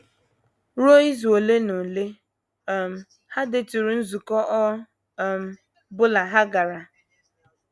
Ruo izu ole na ole, um ha deturu nzukọ ọ um bụla ha gara.